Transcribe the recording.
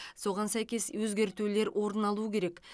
соған сәйкес өзгертулер орын алу керек